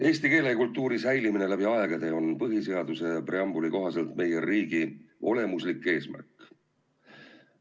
" Eesti keele ja kultuuri säilimine läbi aegade on põhiseaduse preambuli kohaselt meie riigi olemuslik eesmärk.